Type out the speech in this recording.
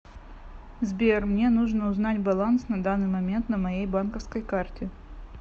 сбер мне нужно узнать баланс на данный момент на моей банковской карте